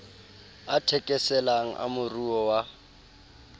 a thekeselang a moruo wa